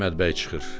Əhməd bəy çıxır.